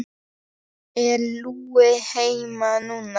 Er Lúlli heima núna?